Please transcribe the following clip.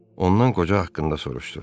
Ondan qoca haqqında soruşdu.